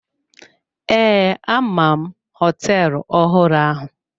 Ee, ama m hoteelu ọhụrụ ahụ.